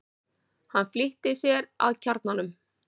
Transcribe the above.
Hann flýtti sér að kjarnanum.